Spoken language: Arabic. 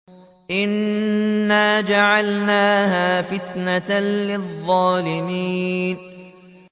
إِنَّا جَعَلْنَاهَا فِتْنَةً لِّلظَّالِمِينَ